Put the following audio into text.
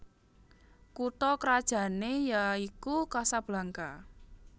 Kutha krajané yaiku Casablanca